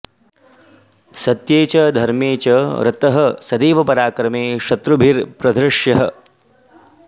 सत्ये च धर्मे च रतः सदैव पराक्रमे शत्रुभिरप्रधृष्यः